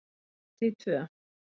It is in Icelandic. Hluti II